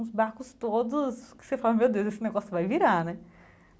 Os barcos todos, que você fala, meu Deus, esse negócio vai virar, né?